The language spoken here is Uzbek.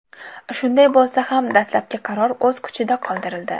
Shunday bo‘lsa ham dastlabki qaror o‘z kuchida qoldirildi.